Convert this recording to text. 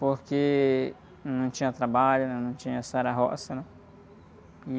Porque não tinha trabalho, não tinha a, né?